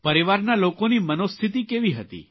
પરિવારના લોકોની મનોસ્થિતિ કેવી હતી